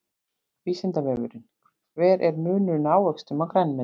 Vísindavefurinn: Hver er munurinn á ávöxtum og grænmeti?